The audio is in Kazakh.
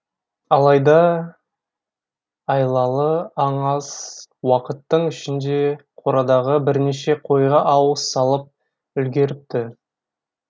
алайда айлалы аң аз уақыттың ішінде қорадағы бірнеше қойға ауыз салып үлгеріпті